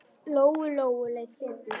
Lóu-Lóu leið betur.